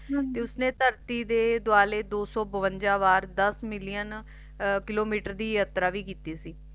ਉਸਨੇ ਧਰਤੀ ਦੇ ਦੁਆਲੇ ਦੋ ਸੋ ਬਵੰਜਾ ਵਾਰ ਦਸ ਮਿਲੀਅਨ ਕਿਲੋਮੀਟਰ ਦੀ ਯਾਤਰਾ ਵੀ ਕੀਤੀ ਸੀ